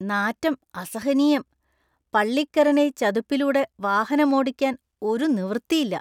നാറ്റം അസഹനീയം. പള്ളിക്കരനൈ ചതുപ്പിലൂടെ വാഹനമോടിക്കാന്‍ ഒരു നിവൃത്തിയില്ല.